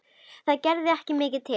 Það gerði ekki mikið til.